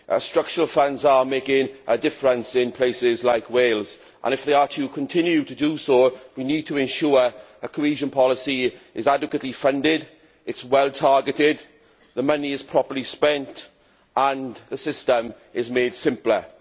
Structural funds are making a difference in places like Wales and, if they are to continue to do so, we need to ensure that the cohesion policy is adequately funded, it is well targeted, the money is properly spent and the system is made simpler.